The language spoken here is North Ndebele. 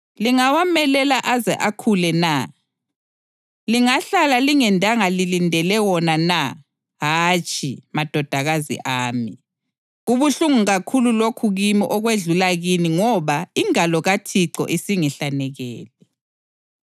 lingawamelela aze akhule na? Lingahlala lingendanga lilindele wona na? Hatshi, madodakazi ami. Kubuhlungu kakhulu lokho kimi okwedlula kini ngoba ingalo kaThixo isingihlanekele!”